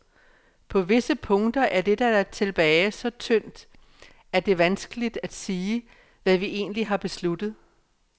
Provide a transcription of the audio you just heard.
På visse punkter er det, der er tilbage, så tyndt, at det vanskeligt at sige, hvad vi egentligt har besluttet.